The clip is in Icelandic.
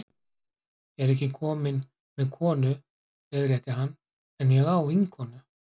Ég er ekki kominn með konu, leiðrétti hann, en ég á vinkonu.